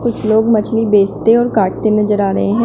कुछ लोग मछली बेचते और काटते नजर आ रहे हैं।